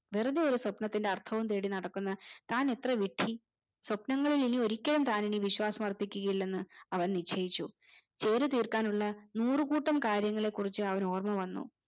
വെറുതെ ഒരു സ്വപ്നത്തിന്റെ അർത്ഥവും തേടി നടക്കുന്ന തൻ എത്ര വിഡ്ഢി സ്വപ്നങ്ങളുടെ മേലിൽ താൻ ഒരിക്കലും താൻ വിശ്യാസം അർപ്പിക്കുകയില്ലെന്ന് അവൻ നിശ്ചയിച്ചു ജോലി തീർക്കാനുള്ള നൂറുകൂട്ടം കാര്യങ്ങളെ കുറിച്ച് അവന് ഓർമ്മ വന്നു